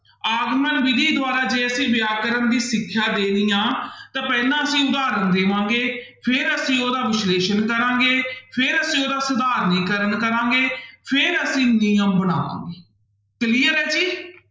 ਆਗਮਨ ਵਿੱਧੀ ਦੁਆਰਾ ਜੇ ਅਸੀਂ ਵਿਆਕਰਨ ਦੀ ਸਿੱਖਿਆ ਦੇਣੀ ਆਂ ਤਾਂ ਪਹਿਲਾਂ ਅਸੀਂ ਉਦਾਹਰਨ ਦੇਵਾਂਗਾ, ਫਿਰ ਅਸੀਂ ਉਹਦਾ ਵਿਸ਼ਲੇਸ਼ਣ ਕਰਾਂਗੇ, ਫਿਰ ਅਸੀਂ ਉਹਦਾ ਸਧਾਰਨੀਕਰਨ ਕਰਾਂਗੇ ਫਿਰ ਅਸੀਂ ਨਿਯਮ ਬਣਾਵਾਂਗੇ clear ਹੈ ਜੀ।